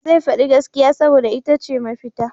Zai faɗi gaskiya saboda ita ce mafita.